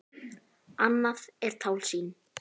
Annað er tálsýn.